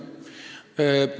See on meie mure.